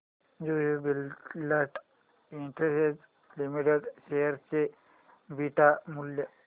Jubilant Industries Limited share चे beta मूल्य